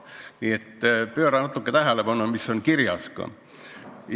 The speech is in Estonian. Nii et pööra natuke tähelepanu, mis kirjas on!